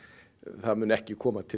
það muni ekki koma til